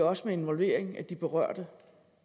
også med involvering af de berørte